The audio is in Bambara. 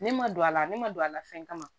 Ne ma don a la ne ma don a la fɛn kama